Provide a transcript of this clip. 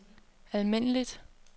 almindeligt